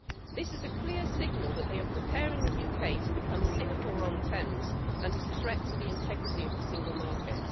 This is a clear signal that they are preparing the UK to become Singapore-on-Thames and is a threat to the integrity of the single market.